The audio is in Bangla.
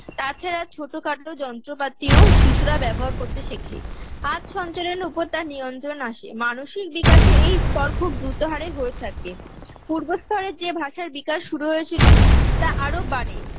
তাছাড়া ছোটখাট যন্ত্রপাতিও শিশুরা ব্যবহার করতে শেখে হাত সঞ্চারণ ওপর তার নিয়ন্ত্রণ আসে মানসিক বিকাশে এই স্তর খুব দ্রুত হারে হয়ে থাকে পূর্বস্থরে যে ভাষায় বিকাশ শুরু হয়েছিল তা আরো বাড়ে